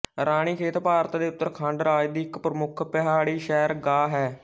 ਰਾਨੀਖੇਤ ਭਾਰਤ ਦੇ ਉੱਤਰਾਖੰਡ ਰਾਜ ਦੀ ਇੱਕ ਪ੍ਰਮੁੱਖ ਪਹਾੜੀ ਸੈਰਗਾਹ ਹੈ